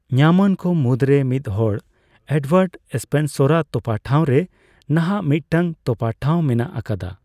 ᱧᱟᱢᱼᱟᱱ ᱠᱚ ᱢᱩᱫᱨᱮ ᱢᱤᱫᱦᱚᱲ, ᱮᱰᱣᱟᱨᱰ ᱥᱯᱮᱱᱥᱚᱨ ᱟᱜ ᱛᱚᱯᱟ ᱴᱷᱟᱣᱨᱮ ᱱᱟᱦᱟ ᱢᱤᱫᱴᱟᱝ ᱛᱚᱯᱟ ᱴᱷᱟᱣ ᱢᱮᱱᱟᱜ ᱟᱠᱟᱫᱟ ᱾